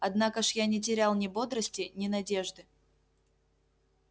однако ж я не терял ни бодрости ни надежды